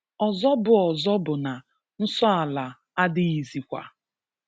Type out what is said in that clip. Ọzọ bụ Ọzọ bụ na nsọ ala adịghịzịkwa.